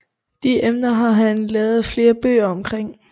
De emner har han lavet flere bøger omkring